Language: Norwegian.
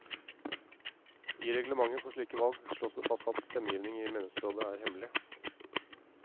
I reglementet for slike valg slås det fast at stemmegivning i menighetsrådet er hemmelig.